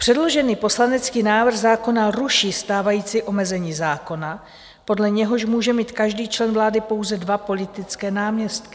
Předložený poslanecký návrh zákona ruší stávající omezení zákona, podle něhož může mít každý člen vlády pouze dva politické náměstky.